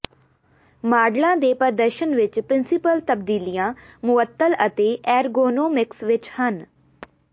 ਮਾਡਲਾਂ ਦੇ ਪ੍ਰਦਰਸ਼ਨ ਵਿਚ ਪ੍ਰਿੰਸੀਪਲ ਤਬਦੀਲੀਆਂ ਮੁਅੱਤਲ ਅਤੇ ਐਰਗੋਨੋਮਿਕਸ ਵਿਚ ਹਨ